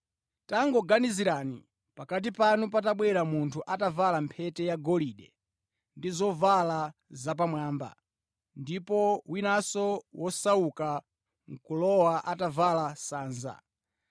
Tangoganizirani, pakati panu patabwera munthu atavala mphete yagolide ndi zovala zapamwamba, ndipo winanso wosauka nʼkulowa atavala sanza.